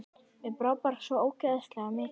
Mér brá bara svo ógeðslega mikið.